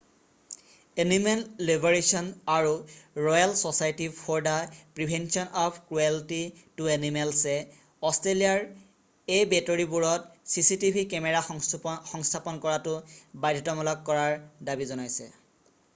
Animal liberation আৰু royal society for the prevention of cruelty to animals rspcaএ অষ্ট্ৰেলিয়াৰ এবেটৰিবোৰত চিচিটিভি কেমেৰা সংস্থাপন কৰাটো বাধ্যতামূলক কৰাৰ দাবী জনাইছে।